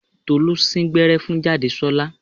Tolú sín gbẹ́rẹ́ fún Jádesọ́lá